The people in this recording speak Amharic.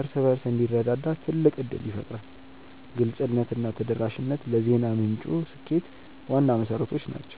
እርስ በርሱ እንዲረዳዳ ትልቅ ዕድል ይፈጥራል። ግልጽነትና ተደራሽነት ለዜና ምንጩ ስኬት ዋና መሠረቶች ናቸው።